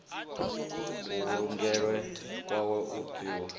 kuvhulungelwe kwawe u tiwa ha